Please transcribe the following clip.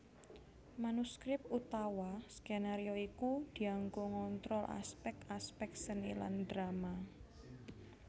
Manuskrip utawa skenario iku dianggo ngontrol aspèk aspèk seni lan drama